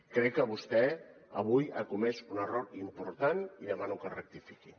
crec que vostè avui ha comès un error important i demano que rectifiqui